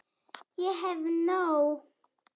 Ég hef nóg.